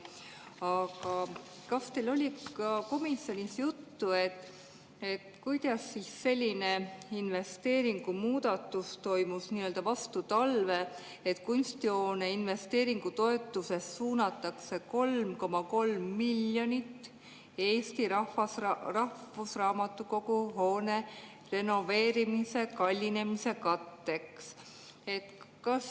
Aga kas teil oli komisjonis juttu, kuidas selline investeeringumuudatus toimus vastu talve, et Kunstihoone investeeringutoetusest suunatakse 3,3 miljonit Eesti Rahvusraamatukogu hoone renoveerimise kallinemise katteks?